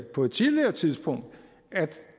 på et tidligere tidspunkt at det